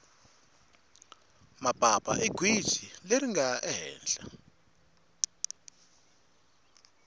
mapapa i gwitsi leri ringale hehla